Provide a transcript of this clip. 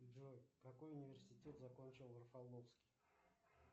джой какой университет закончил рафаловский